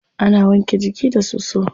Ana wanke jiki da soso.